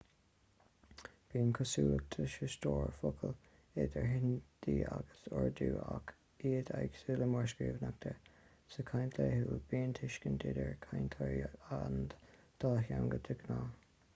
bíonn cosúlachtaí sa stór focal idir hindi agus urdu ach iad éagsúil mar scríbhneoireacht sa chaint laethúil bíonn tuiscint idir chainteoirí an dá theanga de ghnáth